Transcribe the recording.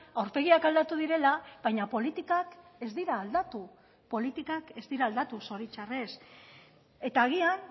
aurpegiak aldatu direla baina politikak ez dira aldatu politikak ez dira aldatu zoritxarrez eta agian